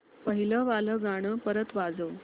पहिलं वालं गाणं परत वाजव